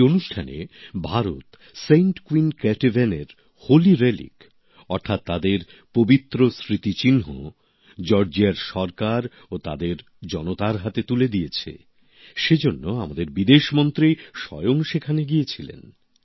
এই অনুষ্ঠানে Bharat saint queen কেটেভানের পবিত্র স্মৃতিচিহ্ন জর্জিয়ার সরকার ও তাদের জনতার হাতে তুলে দিয়েছে সে জন্য আমাদের বিদেশমন্ত্রী স্বয়ং সেখানে গিয়েছিলেন